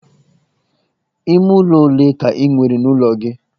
Ime ụlọ ọle ka i nwere n'ụlọ gị?